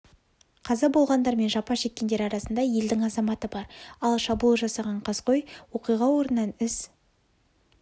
қаза болғандар мен жапа шеккендер арасында елдің азаматы бар ал шабуыл жасаған қаскөй оқиға орнынан із